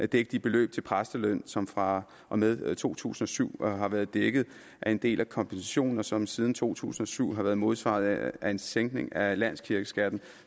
dække de beløb til præstelønninger som fra og med to tusind og syv har været dækket af en del af kompensationen og som siden to tusind og syv har været modsvaret af en sænkning af landskirkeskatten